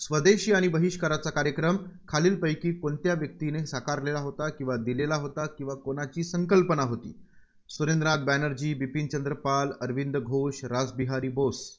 स्वदेशी आणि बहिष्काराचा कार्यक्रम खालीलपैकी कोणत्या व्यक्तीने साकारलेला होता? किंवा दिलेला होता, किंवा कोणाची संकल्पना होती? सुरेंद्रनाथ बॅनर्जी, बिपिनचंद्र पाल, अरविंद घोष, रासबिहारी बोस